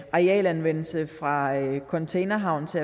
arealanvendelse fra containerhavn til